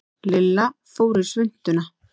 Lilla fór í svuntuna.